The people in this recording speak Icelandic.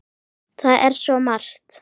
Það er svo margt.